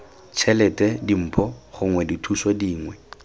tšhelete dimpho gongwe dithuso dingwe